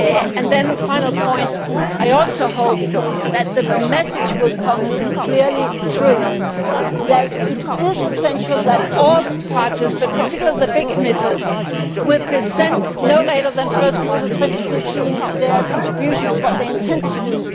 And then a final point I also hope that the message will come clearly through that it is essential that all parties, particularly the big emitters, present no later than the first quarter of 2015 their contributions what they intend to